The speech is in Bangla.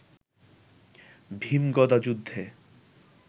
ভীম গদাযুদ্ধে